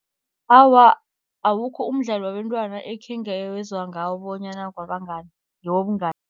Awa, awukho umdlalo wabentwana ekhengezwa ngawo bonyana ngewobungani.